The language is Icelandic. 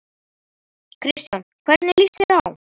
Kristján: Hvernig líst þér á?